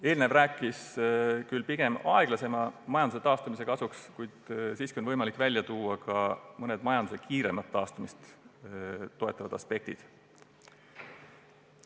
Eelnev jutt rääkis pigem majanduse aeglase taastumise kasuks, kuid siiski on võimalik välja tuua ka mõned majanduse kiiremat taastumist toetavad aspektid.